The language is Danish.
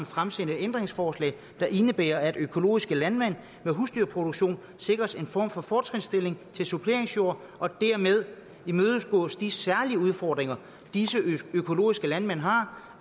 fremsende ændringsforslag der indebærer at økologiske landmænd med husdyrproduktion sikres en form for fortrinsstilling til suppleringsjord og dermed imødekommes de særlige udfordringer disse økologiske landmænd har